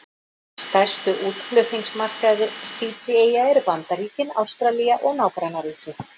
Stærstu útflutningsmarkaðir Fídjíeyja eru Bandaríkin, Ástralía og nágrannaríki.